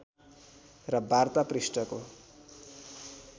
र वार्ता पृष्ठको